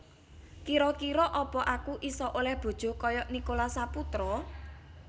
Kiro kiro apa aku iso oleh bojo koyok Nicholas Saputra?